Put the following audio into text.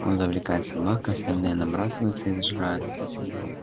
он завлекает собак а остальные набрасываются и сжирают их